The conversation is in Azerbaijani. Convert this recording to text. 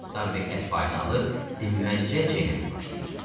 Starbek ət payını alıb dimməzcə çeynəməyə başlayır.